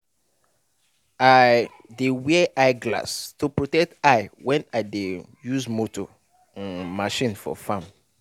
i dey wear eye glass to protect eye when i dey use motor um machine for farm.